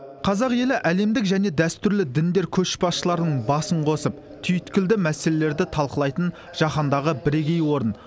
қазақ елі әлемдік және дәстүрлі діндер көшбасшыларының басын қосып түйткілді мәселелерді талқылайтын жаһандағы бірегей орын